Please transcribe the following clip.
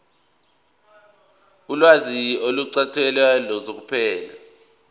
ulwazi oluqukethwe luseqophelweni